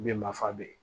Bɛ mafa bɛ yen